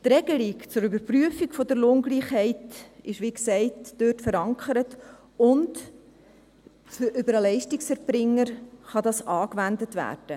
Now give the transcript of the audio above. Die Regelung für die Überprüfung der Lohngleichheit ist, wie gesagt, dort verankert, und über den Leistungserbringer kann dies angewendet werden.